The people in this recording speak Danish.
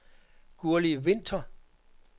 Gurli Winther